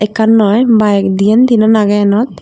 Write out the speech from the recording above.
ekan noi bike diane tinane agay eanot.